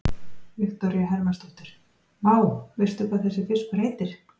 Viktoría Hermannsdóttir: Vá, veistu hvað þessi fiskur heitir?